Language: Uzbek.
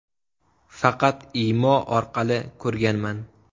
Faqat Imo orqali ko‘rganman.